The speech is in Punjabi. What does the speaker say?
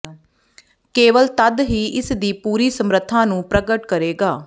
ਕੇਵਲ ਤਦ ਹੀ ਇਸ ਦੀ ਪੂਰੀ ਸਮਰੱਥਾ ਨੂੰ ਪ੍ਰਗਟ ਕਰੇਗਾ